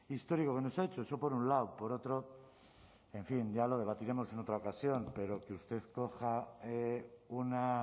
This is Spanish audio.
histórico que nos ha hecho eso por un lado por otro en fin ya lo debatiremos en otra ocasión pero que usted coja una